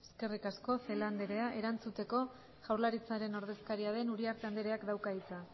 eskerrik asko celaá andrea erantzuteko jaurlaritzaren ordezkaria den uriarte andreak dauka hitza